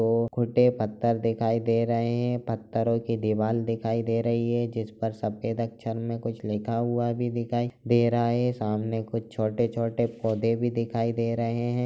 पत्थर दिखाई दे रहे है पत्थरों की दीवाल दिखाई दे रही है जिस पर सफेद अक्षर में कुछ लिखा हुआ भी दिखाई दे रहा हैं सामने कुछ छोटे छोटे पौधे भी दिखाई दे रहे है।